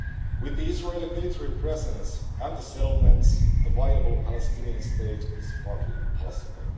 With the Israeli military presence and the settlements, a viable Palestinian State is hardly possible.